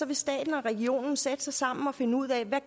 vil staten og regionen sætte sig sammen og finde ud af hvad